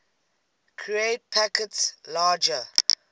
create packets larger